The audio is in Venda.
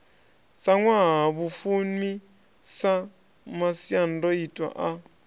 si ṅwahafumi sa masiandoitwa a